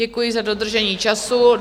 Děkuji za dodržení času.